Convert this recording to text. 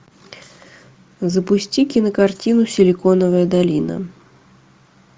запусти кинокартину силиконовая долина